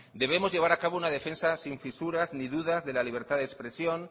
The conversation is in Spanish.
debemos llevar a cabo una defensa sin fisuras ni dudas de la libertad de expresión